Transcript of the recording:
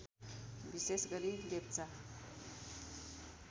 विशेष गरी लेप्चा